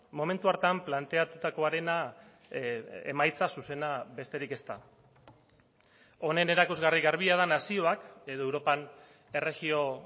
momentu hartan planteatutakoarena emaitza zuzena besterik ez da honen erakusgarri garbia da nazioak edo europan erregio